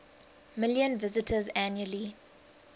million visitors annually